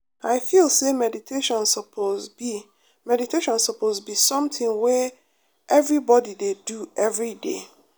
i feel say meditation suppose be meditation suppose be something wey everybody dey do every day.